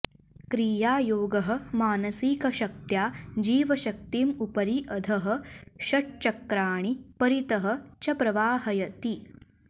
क्रियायोगः मानसिकशक्त्या जीवशक्तिम् उपरि अधः षट्चक्राणि परितः च प्रवाहयति